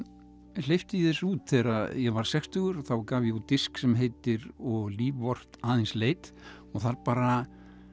hleypti ég þessu út þegar ég varð sextugur þá gaf ég út disk sem heitir og líf vort aðeins leit og þar bara